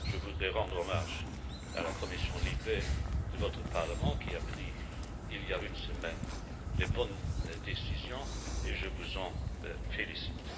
Je voudrais rendre hommage à la commission LIBE de votre Parlement, qui a pris, il y a une semaine, les bonnes décisions et je vous en félicite.